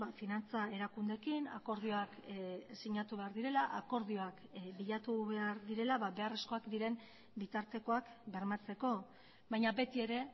finantza erakundeekin akordioak sinatu behar direla akordioak bilatu behar direla beharrezkoak diren bitartekoak bermatzeko baina beti ere